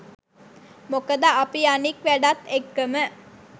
මොකද අපි අනික් වැඩත් එක්කම